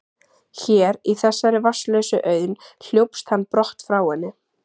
Hér, í þessari vatnslausu auðn, hljópst hann brott frá henni.